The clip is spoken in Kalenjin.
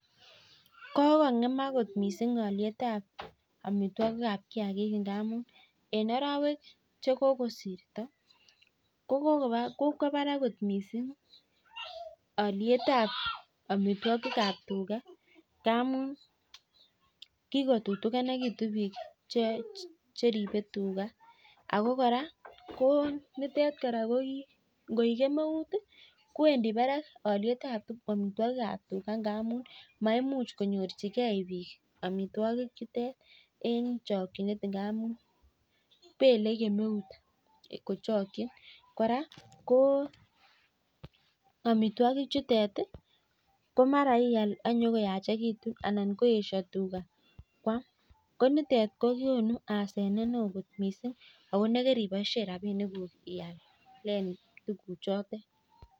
Kokongemak kot mising alyet ab amitwogik ab kiagik amun en arawek Che kokosirto kokwo barak kot mising alyet ab amitwogik ab tuga amun kikotutukinitun bik Che ribe tuga ako kora ko nitet kora angoik kemeut kowendi barak alyet ab amitwogik ab tuga amun maimuch konyorchigei bik amitwogik chutet en chokyinet ngamun belei kemeut kochokyin kora ko amitwogik chuton ko mara ial ak konyo ko yachekitun anan koesio tuga koam ko nitet kogonu asenet neo kot mising ako nekoriboisien rabinikuk ialen tuguchotet